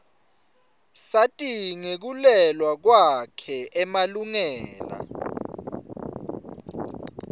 sati ngekuluela kwakhe emalungela